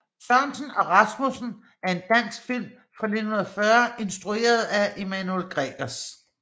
Sørensen og Rasmussen er en dansk film fra 1940 instrueret af Emanuel Gregers